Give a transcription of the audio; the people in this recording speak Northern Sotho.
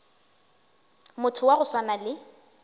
motho wa go swana le